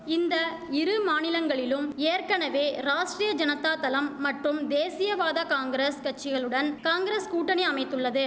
இந்த இரு மாநிலங்களிலும் ஏற்கனவே ராஷ்ட்ரிய ஜனதாதளம் மற்றும் தேசியவாத காங்கிரஸ் கட்சிகளுடன் காங்கிரஸ் கூட்டணி அமைத்துள்ளது